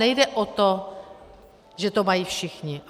Nejde o to, že to mají všichni.